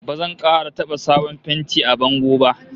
Ba zan kara taba sabon fenti a bango ba!